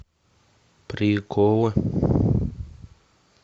приколы